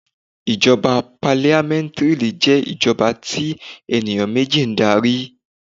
Ìjọba parliamentary jé ìjọba tí ènìyàn méjì n darí